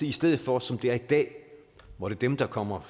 i stedet for som det er i dag hvor dem der kommer